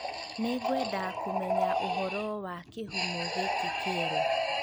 Nĩngwenda kũmenya ũhoro wa kĩhumo gĩkĩ kĩerũ.